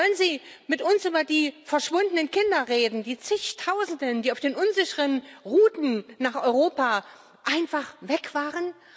Wollen Sie mit uns über die verschwundenen Kinder reden, die Zigtausende, die auf den unsicheren Routen nach Europa einfach weg waren?